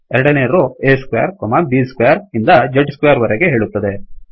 ಎರಡನೆ row a square b square ಇಂದ z squareಸ್ಕ್ವೇರ್ವರೆಗೆ ಹೇಳುತ್ತದೆ